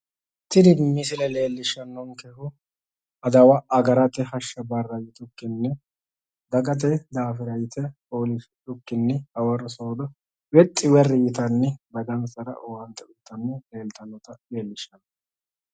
Tini misile leellishshannonkehu adawa agarate hashsha barra yitukkinni, dagate daafira yite foolishshidhukkinni hawarro soodo wexxi werri yitanni dagansara owaante uuyitanni leeltannota leellishshanno.